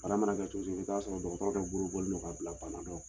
Bana mana kɛ cogo cogo i bɛ t'a sɔrɔ dɔgɔtɔrɔ dɔ bolo bɔnnen don ka bila bana dɔ